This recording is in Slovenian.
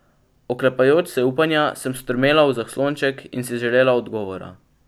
Oklepajoč se upanja sem strmela v zaslonček in si želela odgovora.